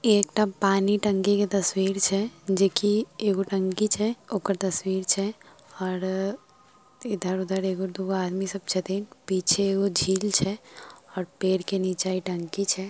इ एकटा पानी टंकी के तस्वीर छै जे की एगो टंकी छै ओकर तस्वीर छैऔर इधर-उधर एक-दू आदमी सब छथिन पीछे एगो झील छै और पेड़ के नीचे इ टंकी छै।